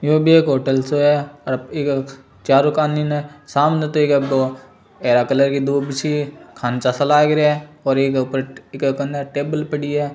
यो बी एक होटल छे और इक चारु कानी ने सामने तो एक एब हरा कलर की दूब सी खांचा सा लाग रया है और इके ऊपर इके कन्ने टेबल पड़ी है।